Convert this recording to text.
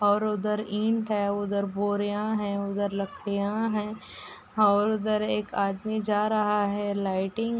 और उधर ईंट है। उधर बोरिया है। उधर लड़कियां हैं। उधर एक आदमी जा रहा है। एक लाइटिंग --